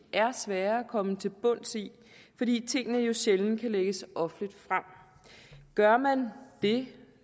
er svære at komme til bunds i fordi tingene jo sjældent kan lægges offentligt frem gør man det